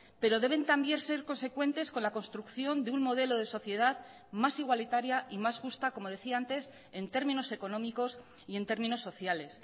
pero deben también ser consecuentes con la construcción de un modelo de sociedad más igualitaria y más justa como decía antes en términos económicos y en términos sociales